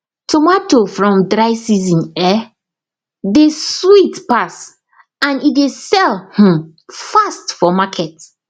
tomato from dry season um dey sweet pass and um dey sell um fast for market